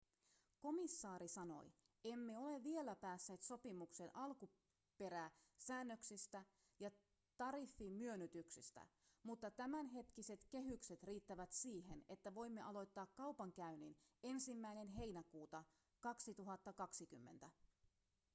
komissaari sanoi emme ole vielä päässeet sopimukseen alkuperäsäännöksistä ja tariffimyönnytyksistä mutta tämänhetkiset kehykset riittävät siihen että voimme aloittaa kaupankäynnin 1 heinäkuuta 2020